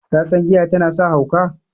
kasan giya tana sa hauka?